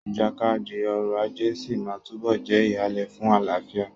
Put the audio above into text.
Ìjàkadì ọrọ̀ ajé sí máa túbọ̀ jẹ́ ìhàlẹ̀ fún àlàáfíà.